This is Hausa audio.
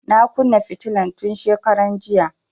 Na kunna fitilan tun shekaran jiya